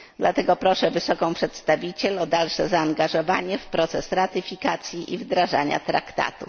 Dlatego proszę Wysoką Przedstawiciel o dalsze zaangażowanie w proces ratyfikacji i wdrażania traktatu.